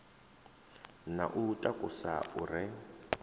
na u takusa u re